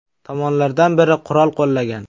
Tomonlardan biri qurol qo‘llagan.